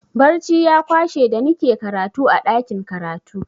Barci ya kwashe da nike karatu a ɗakin karatu.